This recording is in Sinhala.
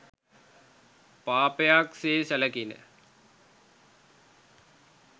පාපයක් සේ සැලකිණ.